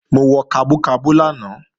Mo wọ kabú kabú lánàá